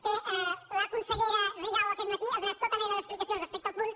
que la consellera rigau aquest matí ha donat tota mena d’explicacions respecte al punt